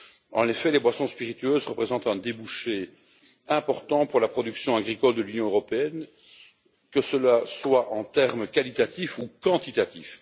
En effet, les boissons spiritueuses représentent un débouché important pour la production agricole de l'Union européenne, que ce soit en termes qualitatifs ou quantitatifs.